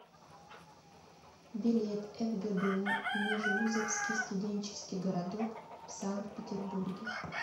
билет фгбу межвузовский студенческий городок в санкт петербурге